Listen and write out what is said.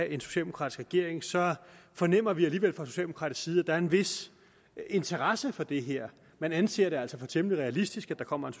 en socialdemokratisk regering så fornemmer vi alligevel fra socialdemokratisk side at der er en vis interesse for det her man anser det altså for temmelig realistisk at der kommer